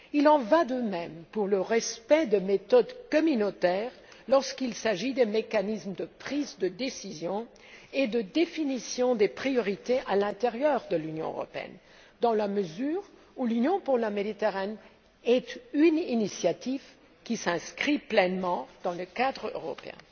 Il en va de même pour le respect des méthodes communautaires appliquées aux mécanismes de prise de décision et de définition des priorités à l'intérieur de l'Union européenne, dans la mesure où l'Union pour la Méditerranée est une initiative qui s'inscrit pleinement dans le cadre européen.